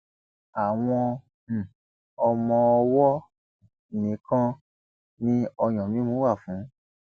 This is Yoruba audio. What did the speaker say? àwọn um ọmọọwọ nìkan ni ọyàn mímu wà fún